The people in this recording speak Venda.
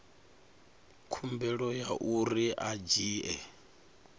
khumbelo ya uri a dzhie